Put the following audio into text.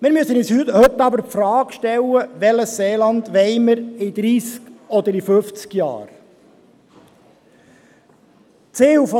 Wir müssen uns heute aber die Frage stellen, welches Seeland wir in dreissig oder in fünfzig Jahren haben wollen.